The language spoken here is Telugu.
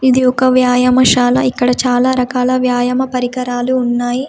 ఇది ఒక వ్యాయామశాల ఇక్కడ చాలా రకాల వ్యాయామ పరికరాలు ఉన్నాయి.